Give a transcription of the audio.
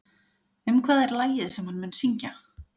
Um hvað er lagið sem hann mun syngja?